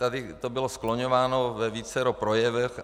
Tady to bylo skloňováno ve vícero projevech.